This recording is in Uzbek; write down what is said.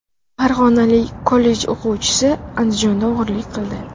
Farg‘onalik kollej o‘quvchisi Andijonda o‘g‘irlik qildi.